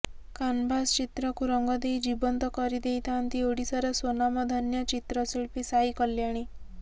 canvas ଚିତ୍ରକୁ ରଙ୍ଗ ଦେଇ ଜୀବନ୍ତ କରିଦେଇଥାଆନ୍ତି ଓଡ଼ିଶାର ସ୍ୱନାମଧନ୍ୟା ଚିତ୍ରଶିଳ୍ପୀ ସାଇ କଲ୍ୟାଣୀ